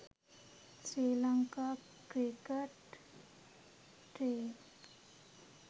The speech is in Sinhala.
sri lanka cricket team